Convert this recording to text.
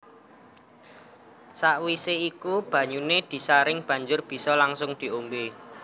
Sakwise iku banyuné disaring banjur bisa langsung diombé